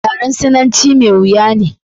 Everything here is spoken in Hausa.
yaren sinanci mai wuya ne